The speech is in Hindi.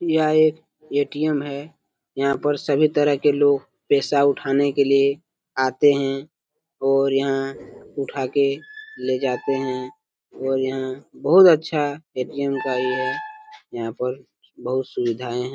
यह एक ए.टी.एम है यहां पे सभी तरह के लोग पैसा उठाने के लिए आते है और यहां उठा के ले जाते है और यहां बहुत अच्छा ए.टी.एम ये है यहां पर बहुत सुविधाएं हैं।